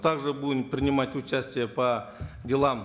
также будем принимать участие по делам